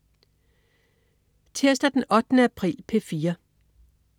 Tirsdag den 8. april - P4: